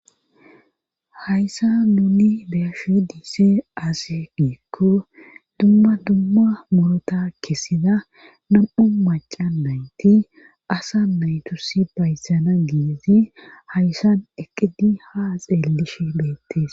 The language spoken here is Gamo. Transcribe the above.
Hayssa nuni beyashi dise aase giikko dumma dumma murota kessida nam7u maca nayti asa naytus bayssana giizi hayssan eqqidi ha xeellish beettes